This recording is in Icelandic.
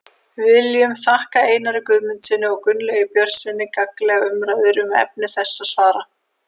Við viljum þakka Einari Guðmundssyni og Gunnlaugi Björnssyni gagnlegar umræður um efni þessa svars.